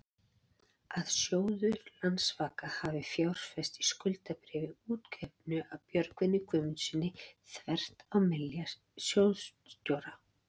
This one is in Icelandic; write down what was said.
að sjóður Landsvaka hafi fjárfest í skuldabréfi útgefnu af Björgólfi Guðmundssyni, þvert á vilja sjóðsstjóra?